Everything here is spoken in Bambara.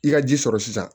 I ka ji sɔrɔ sisan